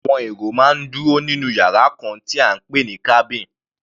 Àwọn èrò máa ń dúró nínú yàrá kan tí à ń pè ní cabin.